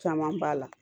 Caman b'a la